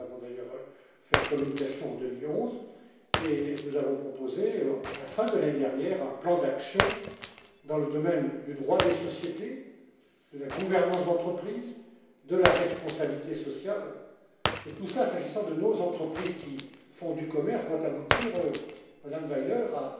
nous avons d'ailleurs élaboré une communication en 2011 sur ce thème, et nous avons proposé, à la fin de l'année dernière, un plan d'action dans le domaine du droit des sociétés, de la gouvernance d'entreprises, de la responsabilité sociale, et tout cela, s'agissant de nos entreprises qui font du commerce, doit aboutir, Madame Weiler,